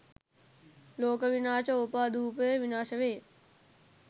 ලෝක විනාශ ඕපාදූපය විනාශ වේ